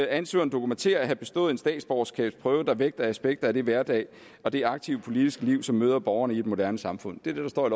ansøgeren dokumentere at have bestået en statsborgerskabsprøve der vægter aspekter af det hverdagsliv og det aktive politiske liv som møder borgerne i et moderne samfund det er det der står i